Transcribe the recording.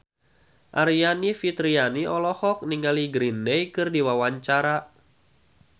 Aryani Fitriana olohok ningali Green Day keur diwawancara